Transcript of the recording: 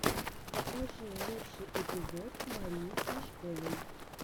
покажи лучший эпизод марии смешковой